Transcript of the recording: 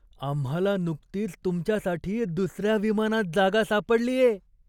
आम्हाला नुकतीच तुमच्यासाठी दुसऱ्या विमानात जागा सापडलीये!